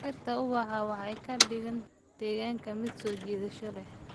Dhirta ubaxa waxay ka dhigaan deegaanka mid soo jiidasho leh.